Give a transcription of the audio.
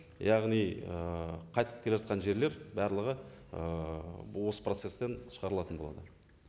яғни ііі қайтып келе жатқан жерлер барлығы ііі осы процесстен шығарылатын болады